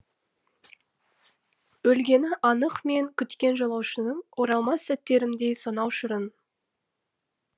өлгені анық мен күткен жолаушының оралмас сәттерімдей сонау шырын